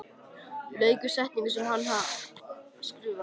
Lauk við setninguna sem hann var að skrifa.